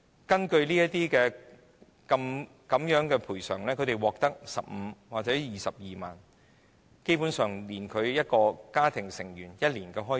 根據有關賠償安排，他們只獲得15萬元或22萬元，基本上不足以應付一個家庭成員一年的開支。